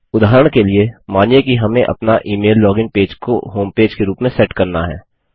उदाहरण के लिए मानिए कि हमें अपना इमेल लोगिन पेज को होमपेज के रूप में सेट करना है